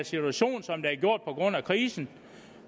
situation som der er gjort på grund af krisen